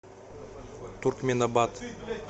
туркменабат